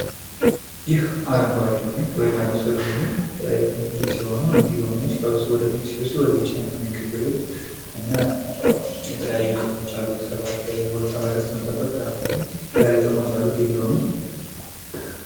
ይህ አረንጓዴ ሎሚ ወይም ያልበሰሉ ሎሚወች ክምችት ሲሆኑ እነዚህ ሎሚወች ሲበስሉ ወደ ቢጫነት ነው የሚቀየሩት እና የተለያዩ ጥቅሞች አሉት። ጤና እስከበመጠበቅ የተለያዩ ጥቅሞች አሉት ይህ ሎሚ።